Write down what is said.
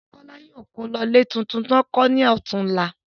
Bọ̀dá Kọ́lá yóò kó lọ ilé tuntun tí wọ́n kọ́ ní ọ̀túnla